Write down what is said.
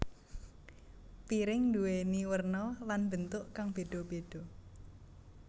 Piring nduwéni werna lan bentuk kang beda beda